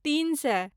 तीन सए